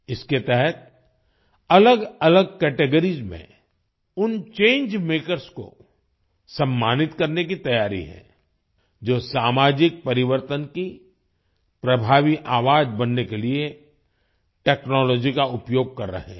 इसके तहत अलगअलग कैटेगरीज में उन चंगे मेकर्स को सम्मानित करने की तैयारी है जो सामाजिक परिवर्तन की प्रभावी आवाज बनने के लिए टेक्नोलॉजी का उपयोग कर रहे हैं